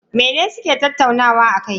Mene suke tattaunawa akai?